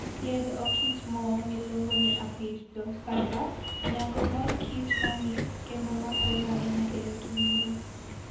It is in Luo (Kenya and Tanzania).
Yiend okichmo miluongo ni Apis dorsata, nyago mor kich mamit kendo makonyo ahinya e rito ngima.